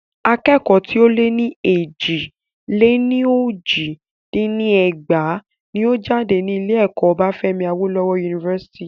Akẹ́kọ̀ọ́ tí o lẹ́ ní éjì-lé-ní-ojì dín ní ẹgbàá ní ó jáde ní ilé ẹ̀kọ́ Obafemi Awolowo University.